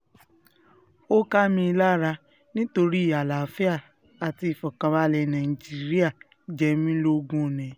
ó ká mi lára nítorí àlàáfíà àti ìfọ̀kànbalẹ̀ nàìjíríà jẹ mí lógún ni